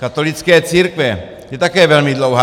Katolické církve je také velmi dlouhá.